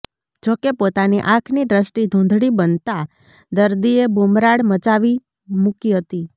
જોકે પોતાની આંખની દ્રષ્ટિ ધુંધળી બનતાં દર્દીએ બુમરાડ મચાવી મુકી હતી